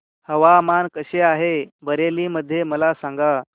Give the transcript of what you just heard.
हवामान कसे आहे बरेली मध्ये मला सांगा